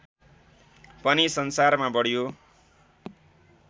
पनि संसारमा बढ्यो